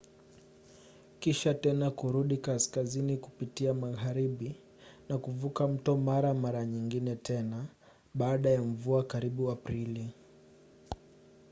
kisha tena kurudi kaskazini kupitia magharibi na kuvuka mto mara mara nyingine tena baada ya mvua karibu aprili